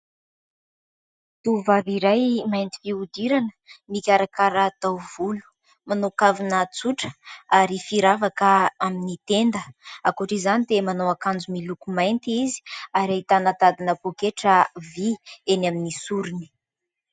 Tovovavy iray mainty fihodirana, mikarakara taovolo, manao kavina tsotra ary firavaka amin'ny tenda. Ankoatran'izany dia manao akanjo miloko mainty izy ary ahitana tadina poketra vy eny amin'ny sorony.